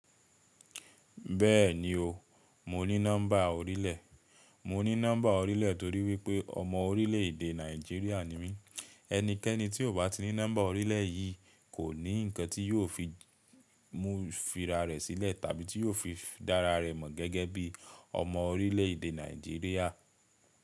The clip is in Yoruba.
Bẹ́ẹ̀ni o, mo ní nọ́mbà orílẹ̀. Mo ní nọ́mbà orílẹ̀ torí wípé ọmọ orílẹ̀èdè Nàìjíríà ni mí. Ẹnikẹ́ni tí ò bá ní nọ́mbà orílẹ̀ yìí kò ní nǹkan tí yóò fi mú fira rẹ̀ sílẹ̀ tàbí tí yóò fi dára rẹ̀ mọ̀ gẹ́gẹ́ bí ọmọ orílẹ̀èdè Nàìjíríà.